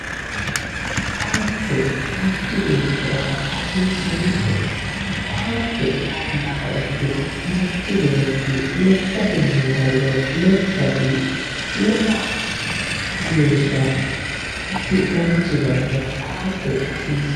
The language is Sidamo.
ko"atte manchi beettira hasiissannote ko"atte hoogguha ikkiro manchi beetti lekkatenni hariro lekkasi lowo geeshsha gufidhannosi daafira ko"atte hasiissanno.